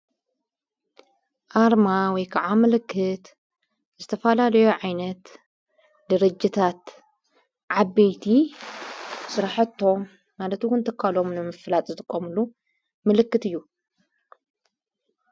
ኣርማ ወይ ከዓ ምልክት እዝተፋላሌዮ ዓይነት ድርጅታት ዓበይቲ ሠራሐቶ ናለትውን ተካሎምኖ ንምፍላጥ ዝትቖምሉ ምልክት እዩ።